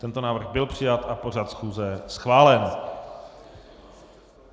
Tento návrh byl přijat a pořad schůze schválen.